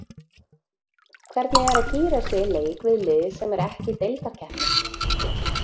Hvernig er að gíra sig í leik við lið sem er ekki í deildarkeppni?